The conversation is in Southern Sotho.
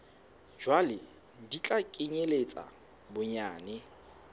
jwalo di tla kenyeletsa bonyane